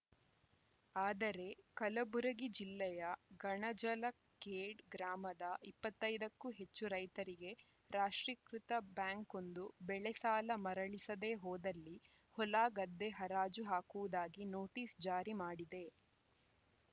ಆದರೆ ಕಲಬುರಗಿ ಜಿಲ್ಲೆಯ ಗಣಜಲಖೇಡ್‌ ಗ್ರಾಮದ ಇಪ್ಪತ್ತೈದಕ್ಕೂ ಹೆಚ್ಚು ರೈತರಿಗೆ ರಾಷ್ಟ್ರೀಕೃತ ಬ್ಯಾಂಕೊಂದು ಬೆಳೆಸಾಲ ಮರಳಿಸದೇ ಹೋದಲ್ಲಿ ಹೊಲಗದ್ದೆ ಹರಾಜು ಹಾಕುವುದಾಗಿ ನೋಟಿಸ್‌ ಜಾರಿ ಮಾಡಿದೆ